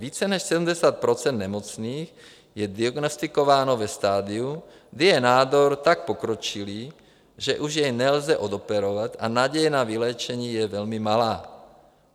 Více než 70 % nemocných je diagnostikováno ve stadiu, kdy je nádor tak pokročilý, že už jej nelze odoperovat, a naděje na vyléčení je velmi malá.